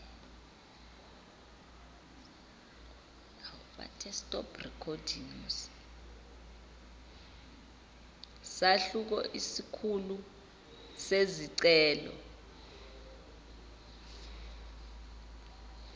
sahluko isikhulu sezicelo